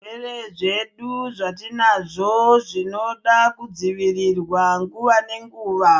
Zvirwere zvedu zvatinazvo zvinoda kudzivirirwa nguva nenguva.